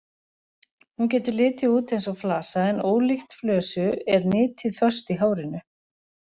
Hún getur litið út eins og flasa en ólíkt flösu er nitin föst í hárinu.